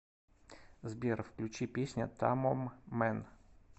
сбер включи песня тамоммэн